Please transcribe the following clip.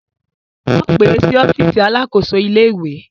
Wọ́n pè é sí ọ́fíìsì alakoso ìlé-ìwé